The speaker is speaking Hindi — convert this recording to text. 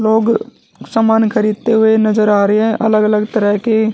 लोग समान खरीदते हुए नजर आ रहे हैं अलग अलग तरह के।